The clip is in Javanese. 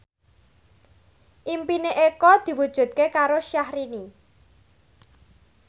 impine Eko diwujudke karo Syahrini